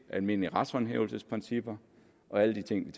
almindelige retshåndhævelsesprincipper og alle de ting